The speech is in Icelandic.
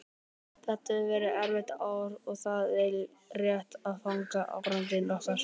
Þetta hefur verið erfitt ár og það er rétt að fagna árangri okkar.